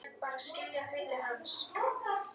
Þið fóruð aldrei heim aftur.